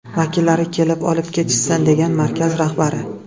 Vakillari kelib olib ketishsin”, degan markaz rahbari.